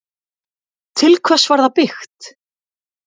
Til hvers var það byggt?